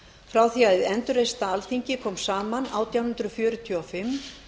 frá því að hið endurreista alþingi kom saman átján hundruð fjörutíu og fimm